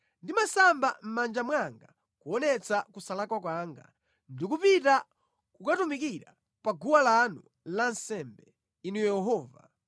Ndimasamba mʼmanja mwanga kuonetsa kusalakwa kwanga ndi kupita kukatumikira pa guwa lanu la nsembe, Inu Yehova,